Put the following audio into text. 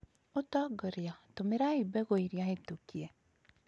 Utongoria, tũmĩrai mbegũiria hĩtũkie